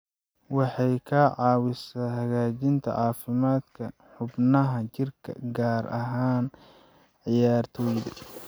Waxay ka caawisaa hagaajinta caafimaadka xubnaha jirka, gaar ahaan ciyaartoyda.